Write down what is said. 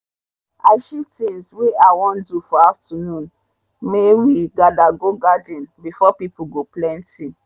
i shift things wey i wan do for afternoon my we gather go garden b4 pple go plenty.